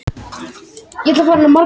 Ætlar að pína stóra bróður